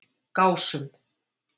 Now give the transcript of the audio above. Gásum